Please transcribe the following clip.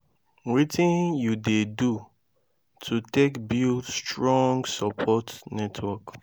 wetin you dey do to take build strong support network?